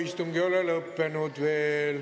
Istung ei ole veel lõppenud.